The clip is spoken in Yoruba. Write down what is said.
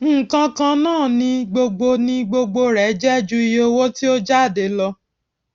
nǹkan kan náà ni gbogbo ni gbogbo rẹ jẹ ju iye owó tí ó jáde lọ